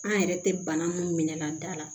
An yɛrɛ tɛ bana min minɛ a da la